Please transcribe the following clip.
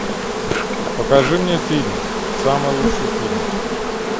покажи мне фильм самый лучший фильм